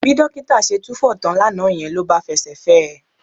Bí dókítà ṣe túfọ̀ tán lánàá yẹn ló bá fẹsẹ̀ fẹ́ ẹ